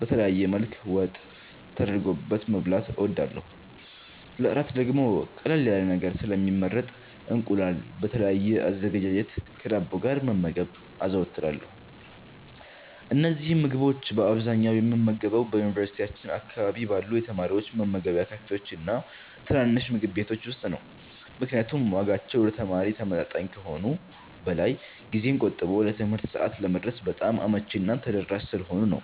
በተለያየ መልክ ወጥ ተደርጎበት መብላት እወዳለሁ። ለእራት ደግሞ ቀለል ያለ ነገር ስለሚመረጥ እንቁላል በተለያየ አዘገጃጀት ከዳቦ ጋር መመገብ አዘወትራለሁ። እነዚህን ምግቦች በአብዛኛው የምመገበው በዩኒቨርሲቲያችን አካባቢ ባሉ የተማሪዎች መመገቢያ ካፌዎችና ትናንሽ ምግብ ቤቶች ውስጥ ነው፤ ምክንያቱም ዋጋቸው ለተማሪ ተመጣጣኝ ከመሆኑም በላይ ጊዜን ቆጥቦ ለትምህርት ሰዓት ለመድረስ በጣም አመቺና ተደራሽ ስለሆኑ ነው።